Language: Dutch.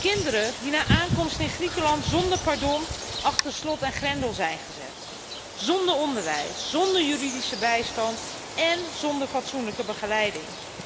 Kinderen die na aankomst in Griekenland zonder pardon achter slot en grendel zijn gezet zonder onderwijs, zonder juridische bijstand en zonder fatsoenlijke begeleiding.